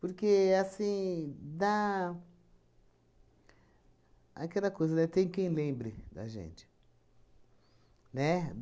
Porque, assim, dá... Aquela coisa, né, tem quem lembre da gente, né?